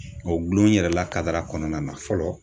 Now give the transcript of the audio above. O gulon yɛrɛ la kadara kɔnɔna na fɔlɔ